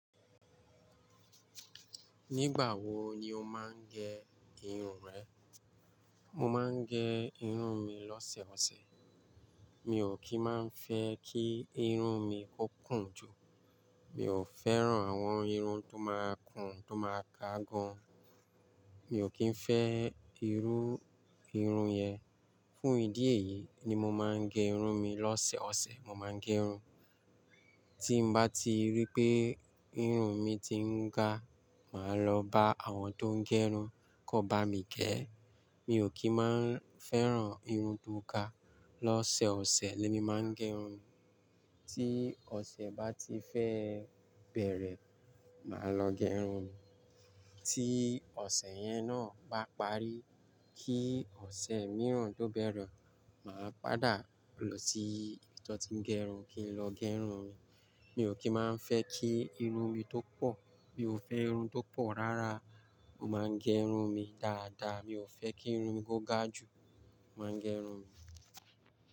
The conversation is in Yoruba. Nígbà wo ni o máa ń gẹ irun rẹ? Mo máa ń gẹ irun mi lọ́sẹ̀ ọ̀sẹ̀. Mi ò kí ń máa fẹ́ kí irun mi ó kún ju. Mi ò fẹ́ran àwọn irun tó máa ń kún, tó máa ga gan. Mi ò kí ń fẹ́ irú irun yẹn. Fún ìdí èyí ni mo máa ń gẹ irun mi. Lọ́sẹ̀ ọ̀sẹ̀ mo máa ń gẹ irun. Tí m bá ti rí pé irun mi ti ń ga, màá lọ bá àwọn tó ń gẹ irun kó bá mi gẹ. Mi ò kí n máa ń fẹ́ran irun tó ga. Lọ́sẹ̀ ọ̀sẹ̀ ni mí máa ń gẹ irun. Tí ọ̀sẹ̀ bá ti fẹ́ bẹ̀rẹ̀, màá lọ gẹ irun. Tí ọ̀sẹ̀ yẹn náà bá parí, kí ọ̀sẹ̀ mìíràn tó bẹ̀rẹ̀, màá padà lọ sí ibi tó ti ń gẹ irun kí n lọ gẹ irun mi Mi ò kí máa ń fẹ́ kí irun mi tó pọ̀. Mi ò fẹ́ irun tó pọ̀ rárá. Mo máa ń gẹ irun mi dáadáa. Mi ò fẹ́ kí irun mi ó ga ju, mo máa ń gẹ irun mi.